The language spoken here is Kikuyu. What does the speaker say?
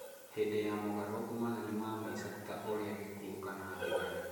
Hĩndĩ ya mogarũrũku manene ma maica, ta ũrĩa gĩkuo kana ndigano,